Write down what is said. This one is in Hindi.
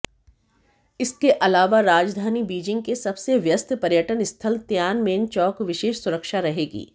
इसके अलावा राजधानी बीजिंग के सबसे व्यस्त पर्यटन स्थल तियानमेन चौक विशेष सुरक्षा रहेगी